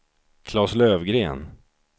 Klas Löfgren